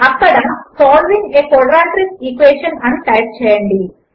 అక్కడ solving a quadratic equation అని type చేయండి